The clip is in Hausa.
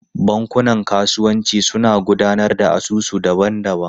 Bankunan kasuwanci suna gudanar da asusu daban-daban.